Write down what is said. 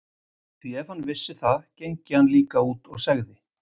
Því ef hann vissi það gengi hann líka út og segði